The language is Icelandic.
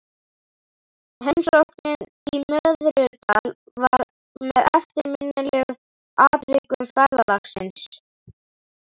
Heimsóknin í Möðrudal var með eftirminnilegri atvikum ferðalagsins.